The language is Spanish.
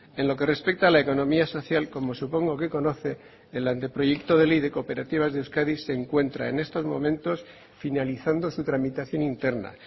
en lo que respecta a la economía social como supongo que conoce el anteproyecto de ley de cooperativas de euskadi se encuentra en estos momentos finalizando su tramitación interna